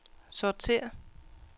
sortér